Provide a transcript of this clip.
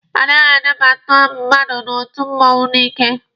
A naghị anabata mmadụ n'otu mmụọnwụ n'ike.